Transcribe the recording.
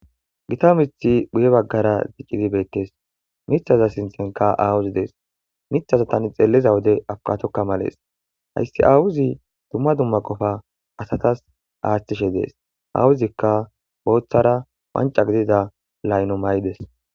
gita mithi bhuye baggara zicqizi beettes mithaza sintenka aawuzi dees mithaza tani xeelliza wode akatokka malees hayssi awuzi dumma dumma qofa asatas aaththishe dees awuzikka booththara wanca gidida layno may7des